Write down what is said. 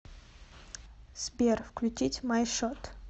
сбер включить май шот